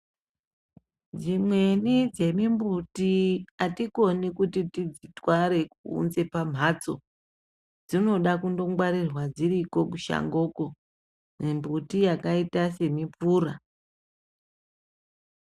Dzimweni dzemumbuti atikoni kuti tidziitware kuunza pamhatso dzinoda kundongwarirwa dziriko kushango ko, mumbuti yakaita semupura.